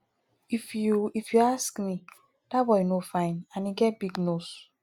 if you if you ask me dat boy no fine and e get big nose